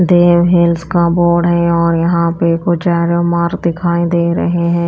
देव Hills का board है और यहां पे कु चारो मार्ग दिखाई दे रहे हैं।